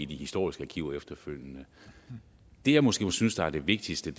de historiske arkiver efterfølgende det jeg måske synes er det vigtigste